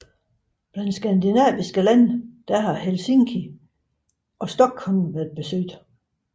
Blandt skandinaviske lande har Helsinki og Stockholm været besøgt